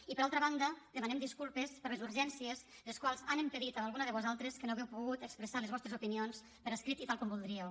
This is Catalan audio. i per altra banda demanem disculpes per les urgències les quals han impedit a alguna de vosaltres que no hàgiu pogut expressar les vostres opinions per escrit i tal com voldríeu